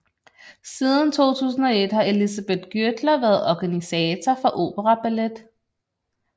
Siden 2001 har Elisabeth Gürtler været organisator for Operaballet